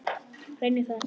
Reyni það ekki.